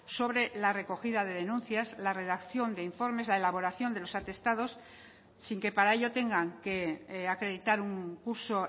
sobre la recogida de denuncias la redacción de informes la elaboración de los atestados sin que para ello tengan que acreditar un curso